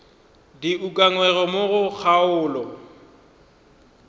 di ukangwego mo go kgaolo